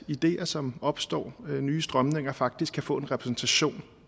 ideer som opstår og nye strømninger faktisk kan få en repræsentation